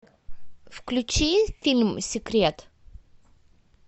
включи фильм секрет